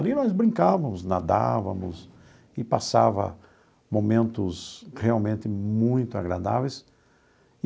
Ali nós brincávamos, nadávamos e passava momentos realmente muito agradáveis.